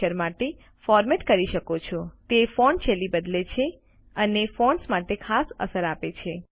અક્ષર માટે ફોરમેટ કરી શકો છો જે ફોન્ટ શૈલી બદલે છે અને ફોન્ટ્સ માટે ખાસ અસર આપે છે